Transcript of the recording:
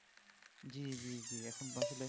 জ্বী জ্বী জ্বী এখন আসলে